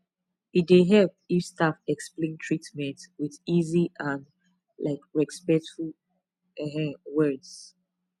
e dey help if staff explain treatment with easy and um respectful um words